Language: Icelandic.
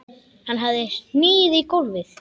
Hann hafði hnigið í gólfið.